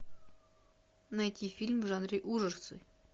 найти фильм в жанре ужасы